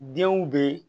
Denw bɛ